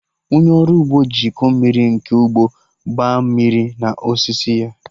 Onye ọrụ ugbo ji iko mmiri nke ugbo gbaa mmiri na osisi ya